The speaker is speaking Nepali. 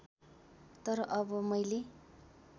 तर अब मैले